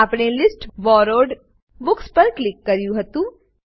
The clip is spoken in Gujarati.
આપણે લિસ્ટ બોરોવ્ડ બુક્સ પર ક્લિક કર્યું હતું